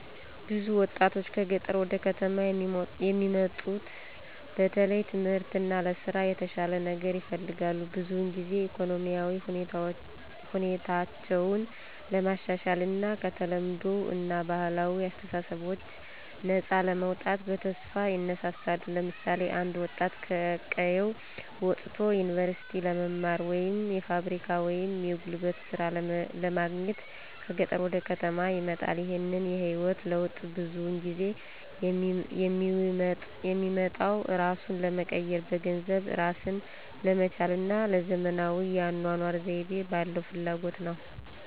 ብዙ ወጣቶች ከገጠር ወደ ከተማ የሚሙጡት በተለይ ለትምህርት እና ለስራ የተሻለ ነገር ይፈልጋሉ። ብዙውን ጊዜ ኢኮኖሚያዊ ሁኔታቸውን ለማሻሻል እና ከተለምዷዊ እና ባህላዊ አስተሳሰቦች ነፃ ለመውጣት በተስፋ ይነሳሳሉ። ለምሳሌ አንድ ወጣት ከቀየው ወጥቶ ዩኒቨርሲቲ ለመማር ወይም የፋብሪካ ወይም የጉልበት ሥራ ለማግኘት ከገጠር ወደ ከተማ ይመጣል። ይህንን የህይወት ለውጥ ብዙውን ጊዜ የሚመጣው እራሱን ለመቀየር፣ በገንዘብ እራስን ለመቻል እና ለዘመናዊ የአኗኗር ዘይቤ ባለው ፍላጎት ነው።